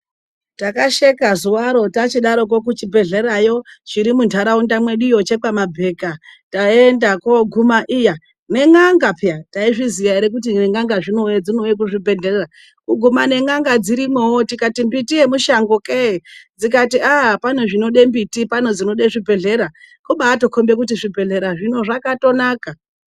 Takasheka zuva iro tachidaroko kuchibhidhlerayo chiri muntaraunda medu chekwaMabheka. Taendako kuMahiya nen; anga . Taizviya here kuti nen'anga dzinouyawo kuzvibhedhlera . Kukumana ngen'anga dzirimowo. Tikati mbiti yemushangoke. Dzikati pane zvinoda mbiti pane zvinoda zvibhedhlera. kombati zvibhedhlera zvakatonaka.